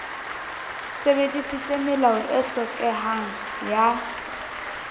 sebedisitse melao e hlokehang ya